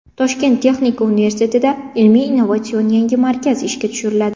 Toshkent texnika universitetida ilmiy innovatsion yangi markaz ishga tushiriladi.